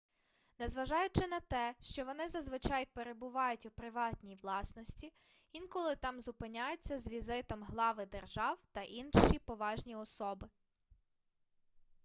незважаючи на те що вони зазвичай перебувають у приватній власності інколи там зупиняються з візитом глави держав та інші поважні особи